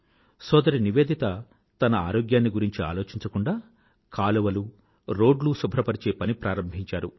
సోదరి నివేదిత తన ఆరోగ్యాన్ని గురించి ఆలోచించకుండా కాలవలు రోడ్లు శుభ్రపరిచే పని ప్రారంభించారు